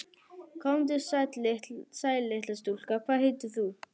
Komdu sæl litla stúlka, hvað heitir þú?